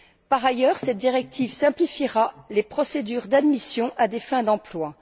Par ailleurs, cette directive simplifiera les procédures d'admission à des fins d'emploi.